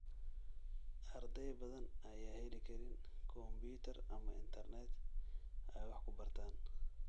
Arday badan ayaan heli karin kombuyuutar ama internet ay wax ku bartaan.